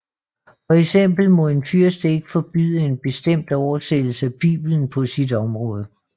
For eksempel må en fyrste ikke forbyde en bestemt oversættelse af Bibelen på sit område